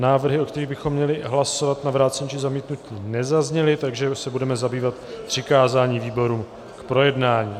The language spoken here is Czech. Návrhy, o kterých bychom měli hlasovat, na vrácení, či zamítnutí nezazněly, takže se budeme zabývat přikázáním výborům k projednání.